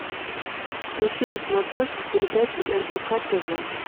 включи на смотрешке передачу рбк тв